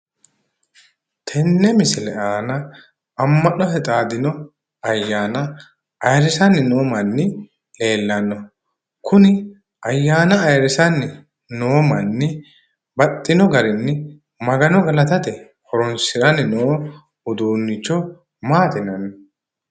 Tenne misile aana amma'note xaadino ayyaana ayiirrisanni noo manni leellanno. kuni ayyaana ayiirrisanni noo manni baxxino garinni magano galatate horonsiranni noo uduunnicho maati yinanni?